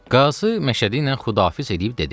Qazı Məşədi ilə xudafiz eləyib dedi.